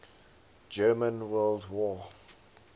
german world war